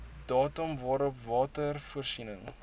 datum waarop watervoorsiening